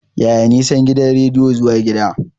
Yaya nisan gidan rediyon zuwa gida?